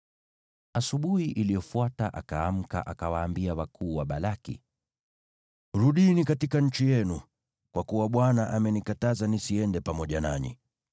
Asubuhi iliyofuata Balaamu akaamka, akawaambia wakuu wa Balaki, “Rudini katika nchi yenu, kwa kuwa Bwana amenikataza nisiende pamoja nanyi.”